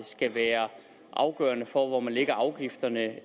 skal være afgørende for hvor man lægger afgifterne